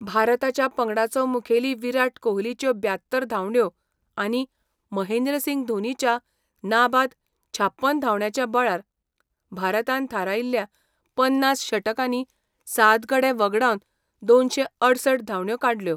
भारताच्या पंगडाचो मुखेली विराट कोहलीच्यो ब्यात्तर धांवड्यो आनी महेंद्रसिंग धोनीच्या नाबाद छाप्पन धांवड्यांच्या बळार भारतान थारायिल्ल्या पन्नास षटकांनी सात गडे वगडावन दोनशे अडुसठ धांवड्यो काडल्यो.